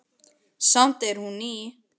Samt er hún ný.